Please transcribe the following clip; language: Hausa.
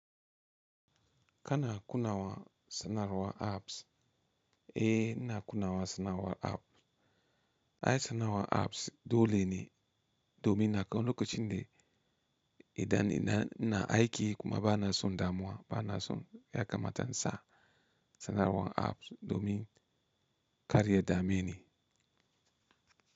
Kana kunna wa sanarwa apps? Eh ina kuna wa sanarwa app. Ai sanarwa apps dole ne domin na kawo lokacin da idan ina, ina aiki kuma ba na son damuwa, ba na son ya kamata in sa sanarwa apps domin karya dameni.